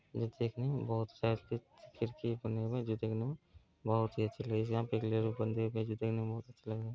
यह देखने में बहुत सारे खी खिड़की बने हुए हैं जो देखने मे बहुत ही अच्छी --